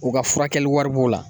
U ka furakɛli wari b'o la